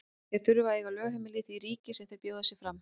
Þeir þurfa að eiga lögheimili í því ríki sem þeir bjóða sig fram.